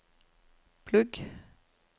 plugg